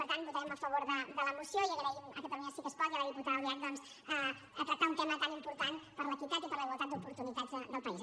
per tant votarem a favor de la moció i agraïm a catalunya sí que es pot i a la diputada albiach doncs que hagi tractat un tema tan important per l’equitat i per la igualtat d’oportunitats del país